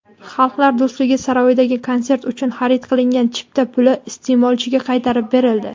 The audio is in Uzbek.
"Xalqlar do‘stligi" saroyidagi konsert uchun xarid qilingan chipta puli iste’molchiga qaytarib berildi.